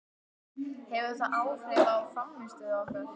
Hefur það áhrif á frammistöðu okkar?